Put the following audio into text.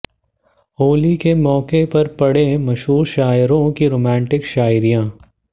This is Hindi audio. होली के मौके पर पढ़ें मशहूर शायरों की रोमांटिक शायरी